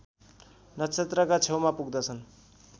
नक्षत्रका छेउमा पुग्दछन्